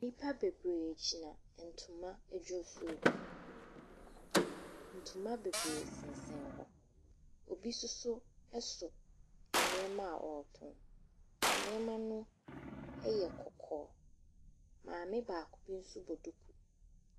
Nnipa bebree gyina ntoma adwofio bi, ntoma bebree sensɛn hɔ. Obi nso so nneɛma a ɔretɔn, nneɛma no yɛ kɔkɔɔ. Maame baako bi nso bɔ duku.